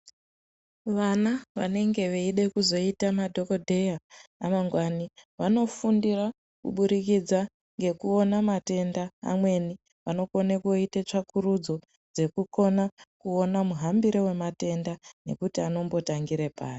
Vana vanenge veida kuzoita madhokodheya amangwani vanofundira kubudikidza nekuona matenda amweni vanokona kundoita tsvakurudzo kukona kuona muhambore wematenda nekuti anombotangira pari.